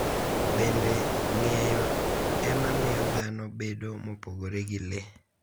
Bende, ng’eyo e ma miyo dhano bedo mopogore gi le.